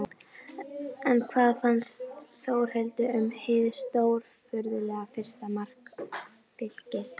En hvað fannst Þórhildi um hið stórfurðulega fyrsta mark Fylkis?